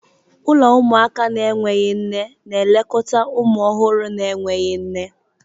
Ụlọ ụmụaka na-enweghị nne na-elekọta ụmụ ọhụrụ na-enweghị nne.